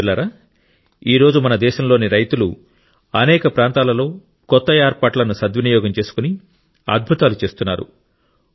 మిత్రులారా ఈ రోజు మన దేశంలోని రైతులు అనేక ప్రాంతాలలో కొత్త ఏర్పాట్లను సద్వినియోగం చేసుకొని అద్భుతాలు చేస్తున్నారు